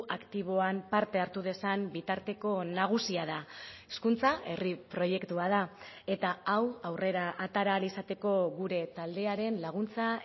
aktiboan parte hartu dezan bitarteko nagusia da hezkuntza herri proiektua da eta hau aurrera atera ahal izateko gure taldearen laguntza